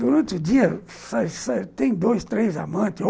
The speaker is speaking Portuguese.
Durante o dia tem dois, três amantes.